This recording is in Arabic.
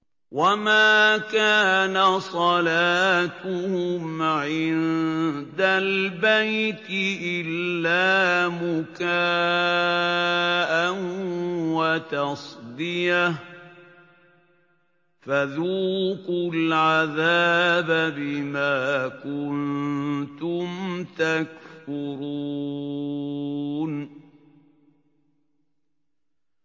وَمَا كَانَ صَلَاتُهُمْ عِندَ الْبَيْتِ إِلَّا مُكَاءً وَتَصْدِيَةً ۚ فَذُوقُوا الْعَذَابَ بِمَا كُنتُمْ تَكْفُرُونَ